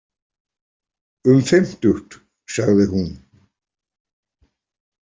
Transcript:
Um fimmtugt, sagði hún.